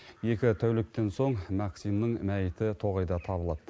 екі тәуліктен соң максимнің мәйіті тоғайда табылады